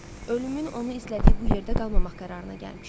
Ölümün onu izlədiyi bu yerdə qalmamaq qərarına gəlmişdi.